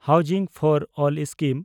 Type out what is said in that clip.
housing for all scheme